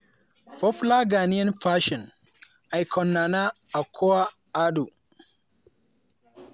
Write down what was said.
popular ghanaian fashion icon nana akua addo